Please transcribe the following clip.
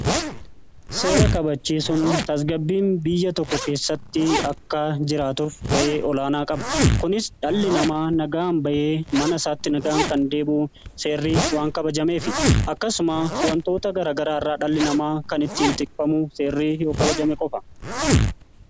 Seera kabachiisuun tasgabbiin biyya tokko keessatti akka jiraatuf ga'ee olaanaa qaba. Kunis dhalli namaa nagaan bayee mana isaatti nagaan kan deebi'u seerri waan kabajamee fi akkasuma wantoota garagaraa irraa dhalli namaa kan ittiin tikfamu seerri yoo kabajamee qofa.